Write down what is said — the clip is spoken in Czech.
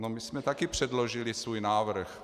No, my jsme taky předložili svůj návrh.